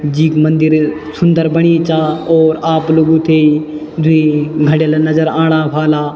जीक मंदिर सुन्दर बणी चा और आप लोगो थें द्वि घडेला नजर आणा वल्ला।